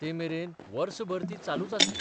ते मेरेन वर्सभर ती चालूच आसली.